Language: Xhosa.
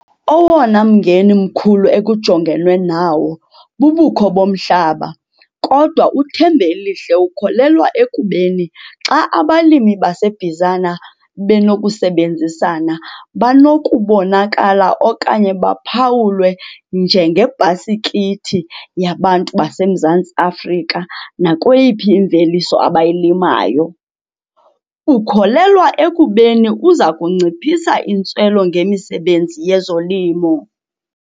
Owona mngeni mkhulu ekujongenwe nawo, bubukho bomhlaba, kodwa uThembelihle ukholelwa ekubeni xa abalimi baseBizana benokusebenzisana banokubonakala okanye baphawulwe njengebhasikithi yabantu baseMzantsi Afrika nakweyiphi imveliso abayilimayo. Ukholelwa ekubeni uza kuyinciphisa intswelo ngemisebenzi yezolimo.